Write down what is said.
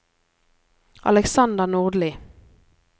Aleksander Nordli